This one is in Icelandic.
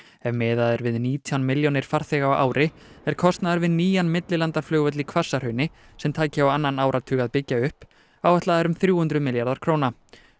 ef miðað er við nítján milljónir farþega á ári er kostnaður við nýjan millilandaflugvöll í Hvassahrauni sem tæki á annan áratug að byggja upp áætlaður um þrjú hundruð milljarðar króna